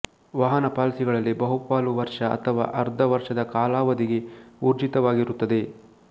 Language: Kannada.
ವಾಹನ ಪಾಲಿಸಿಗಳಲ್ಲಿ ಬಹುಪಾಲು ವರ್ಷ ಅಥವಾ ಅರ್ಧ ವರ್ಷದ ಕಾಲಾವಧಿಗೆ ಊರ್ಜಿತವಾಗಿರುತ್ತದೆ